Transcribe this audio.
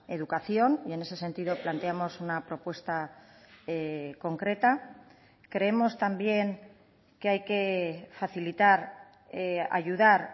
educación y en ese sentido planteamos una propuesta concreta creemos también que hay que facilitar ayudar